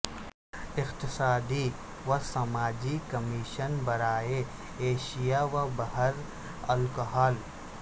اقتصادی و سماجی کمیشن برائے ایشیا و بحر الکاہل